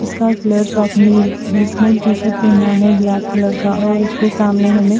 इसका इसने T shirt पहना है ब्लैक कलर का और उसके सामने हमें--